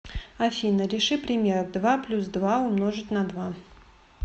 афина реши пример два плюс два умножить на два